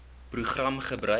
program gebruik